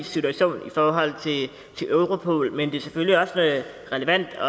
situation i forhold til europol men det er selvfølgelig også relevant